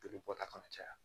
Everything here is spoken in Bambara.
Joli bɔta kana caya